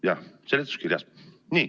Jah, seletuskirjas.